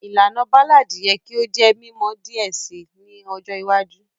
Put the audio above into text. Ìlànà Ballad yẹ ki o jẹ mimọ diẹ sii ni ọjọ iwájú